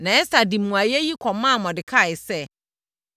Na Ɛster de mmuaeɛ yi kɔmaa Mordekai sɛ,